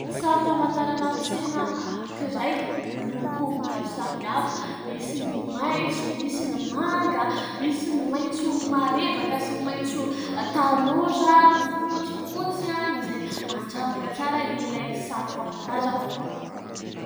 Sary famantarana tsena anankiray miloko maro samy hafa ; misy ny maintso, misy ny manga, misy ny maintso marevaka, sy ny maintso tanora, ny fotsifotsy izay mandravaka tsara ilay saro famantarana.